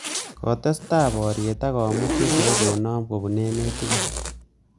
Kotestai boriet ak komut chesirei konom kopun emet tugul